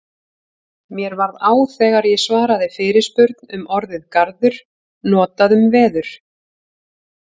Mér varð á þegar ég svaraði fyrirspurn um orðið garður notað um veður.